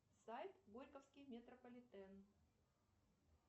сайт горьковский метрополитен